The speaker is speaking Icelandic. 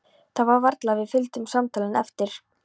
Það var varla að við fylgdum samtalinu eftir.